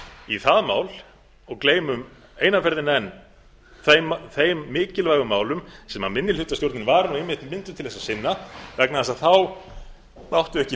í það mál og gleymum eina ferðina enn þeim mikilvægu málum sem minnihlutastjórnin var nú einmitt mynduð til að sinna vegna þess að